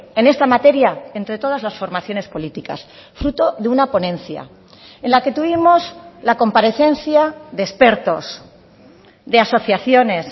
en esta materia entre todas las formaciones políticas fruto de una ponencia en la que tuvimos la comparecencia de expertos de asociaciones